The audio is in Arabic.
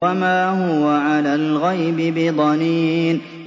وَمَا هُوَ عَلَى الْغَيْبِ بِضَنِينٍ